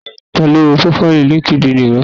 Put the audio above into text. Ta ló wo prófáìlì línkídinì rẹ?